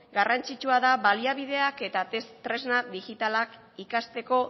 garrantzitsua da baliabideak eta tresna digitalak ikasteko